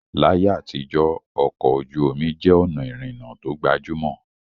Láyé àtijọ́, ọkọ̀ ojú omi jẹ́ ọ̀nà ìrìnnà tó gbajúmọ̀